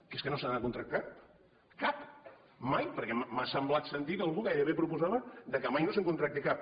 que és que no se n’ha de contractar cap mai perquè m’ha semblat sentir que algú gairebé proposava que mai no se’n contracti cap